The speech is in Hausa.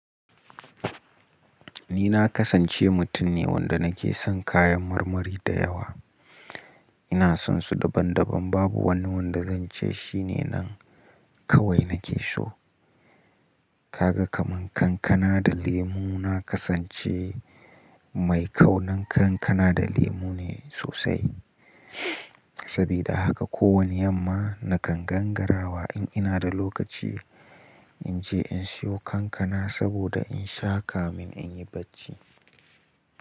Ni na kasance mutum ne wanda nake son kayan marmari da yawa. Ina sonsu daban daban, babu wani wanda zan ce shine nan kawai nake so. Kaga kaman kankana da lemu, na kasance mai kaunan kankana da lemu ne sosai. Saboda haka ko wani yamma nakan gangarawa in ina da lokaci in je in siyo kankana saboda in sha kamin in yi bacci.